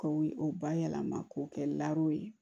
K'o o ba yɛlɛma k'o kɛ ye